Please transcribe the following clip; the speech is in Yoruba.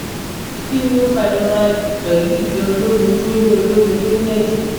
kini o fa irora ikun pelu igbe olomi to ni olomi to ni eje